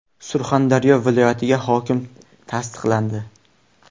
Surxondaryo viloyatiga hokim tasdiqlandi.